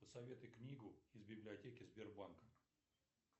посоветуй книгу из библиотеки сбербанка